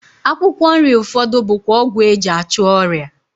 Akwụkwọ nri ụfọdụ bụkwa ọgwụ e ji achụ ọrịa